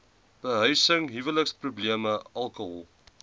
behuising huweliksprobleme alkohol